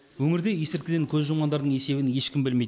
өңірде есірткіден көз жұмғандардың есебін ешкім білмейді